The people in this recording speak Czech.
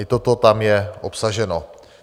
I toto tam je obsaženo.